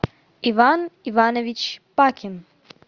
иван иванович пакин